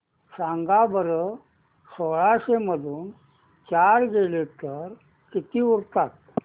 सांगा बरं सोळाशे मधून चार गेले तर किती उरतात